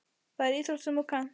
Það er íþrótt sem þú kannt.